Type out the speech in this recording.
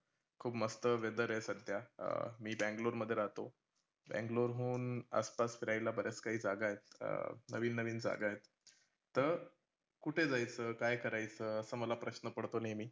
खूप मस्त weather रे सध्या, अह मी बँगलोर मध्ये राहतो. बँगलोर हून आसपास फिरायला बऱ्याच काही जागा आहेत. अं नवीन नवीन जागा आहेत. तं कुठे जायचं? काय करायचं? असा मला प्रश्न पडतो नेहमी.